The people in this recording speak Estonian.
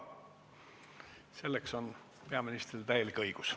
Selleks on peaministril täielik õigus.